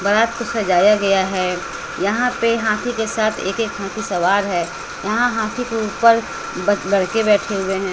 बारात को सजाया गया है यहां पे हाथी के साथ एक एक हाथी सवार है यहां हाथी के ऊपर ब लड़के बैठे हुए हैं।